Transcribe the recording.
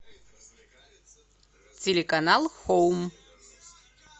телеканал хоум